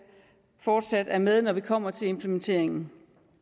fortsat er med når vi kommer til implementeringen